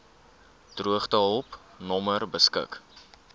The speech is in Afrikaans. droogtehulp nommer beskik